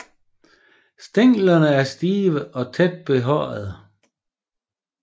Stænglerne er stive og tæt behårede